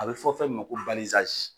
A bɛ fɔ fɛn min ma ko